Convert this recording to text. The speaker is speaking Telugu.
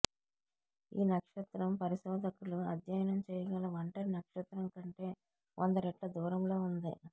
ఈ నక్షత్రం పరిశోధకులు అధ్యయనం చేయగల ఒంటరి నక్షత్రం కంటే వంద రెట్ల దూరంలో ఉంది